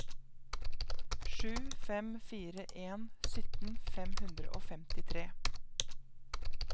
sju fem fire en sytten fem hundre og femtitre